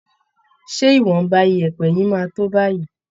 Ṣé ìwọ̀nba yẹ̀ẹ̀pẹ̀ yìí máa tó báyìí